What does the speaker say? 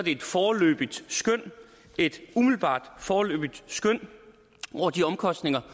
et foreløbigt skøn et umiddelbart foreløbigt skøn over de omkostninger